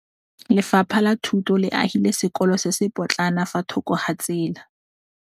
Lefapha la Thuto le agile sekôlô se se pôtlana fa thoko ga tsela.